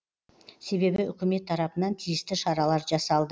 себебі үкімет тарапынан тиісті шаралар жасалды